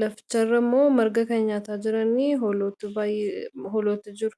Laficharra immoo marga kan nyaataa jiranii hooloti baay'ee hooloti jiru.